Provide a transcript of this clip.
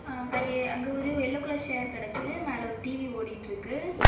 அ கை அங்க ஒரு எல்லோ கலர் ஷேர் கெடக்குது மேல ஒரு டி_வி ஓடிட்டு இருக்கு.